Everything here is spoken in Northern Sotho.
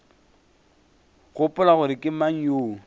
gopola gore ke mang yo